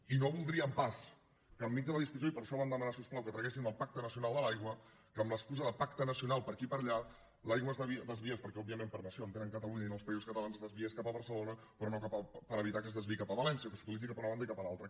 i no voldríem pas que enmig de la discussió i per això vam demanar si us plau que traguessin el pacte nacional de l’aigua que amb l’excusa de pacte nacional per aquí per allà l’aigua es desviés perquè òbviament per nació entenen catalunya i no els països catalans es desviés cap a barcelona per evitar que es desviï cap a valència que s’utilitzi cap a una banda i cap a l’altra